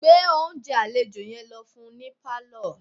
Gbé oúnjẹ àlejò yẹn lọ fún un ní pálọ̀